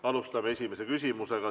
Alustame esimese küsimusega.